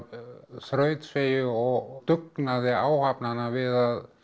þrautseigju og dugnaði áhafnanna við að